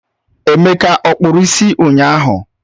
Emeka ọ kpụrụ isi ụnyahụ?